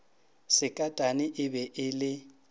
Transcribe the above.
sekatane e be e le